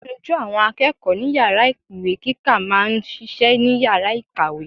Aṣojú àwọn akẹ́kọ̀ọ́ ní Yàrá ìwé kíkà máa ń ṣiṣẹ́ ní Yàrá ìkàwé.